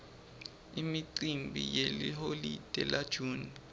imicimbi yeliholide la june